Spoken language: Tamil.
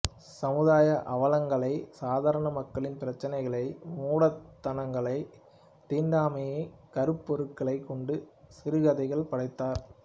சமுதாய அவலங்களை சாதாரண மக்களின் பிரச்சினைகளை மூடத்தனங்களை தீண்டாமையைக் கருப்பொருளாகக் கொண்டு சிறுகதைகள் படைத்தார்